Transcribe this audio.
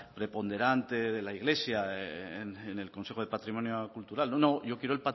preponderante de la iglesia en el consejo de patrimonio cultural no no yo quiero